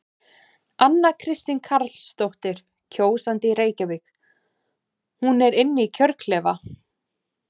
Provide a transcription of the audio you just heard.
Anna Kristín Karlsdóttir, kjósandi í Reykjavík: Hún er inn í kjörklefa?